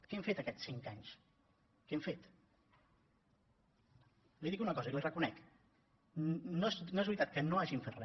què han fet aquests cinc anys què han fet li dic una cosa i la hi reconec no és veritat que no hagin fet re